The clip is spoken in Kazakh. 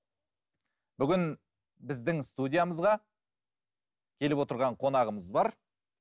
бүгін біздің студиямызға келіп отырған қонағымыз бар